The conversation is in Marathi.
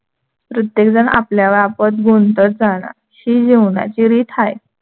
प्रत्येकजण आपल्याला आपत गुंतत जाणार ही जीवनाची रीत हाय.